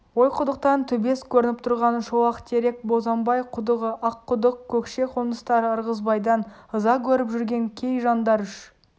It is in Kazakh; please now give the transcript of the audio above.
ойқұдықтан төбес көрініп тұрған шолақтерек бозамбай-құдығы аққұдық көкше қоныстары ырғызбайдан ыза көріп жүрген кей жандар үш